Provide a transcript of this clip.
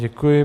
Děkuji.